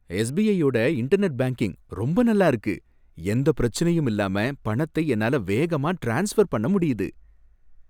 எஸ்பிஐயோட internet banking ரொம்ப நல்லா இருக்கு. எந்த பிரச்சனையும் இல்லாம பணத்தை என்னால வேகமா ட்ரான்ஸ்ஃபர் பண்ண முடியுது.